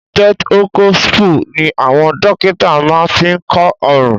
Stethoscopu ní àwọn dókítà máa ń fí kọ ọrùn.